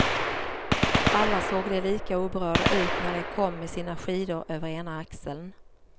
Alla såg de lika oberörda ut när de kom med sina skidor över ena axeln.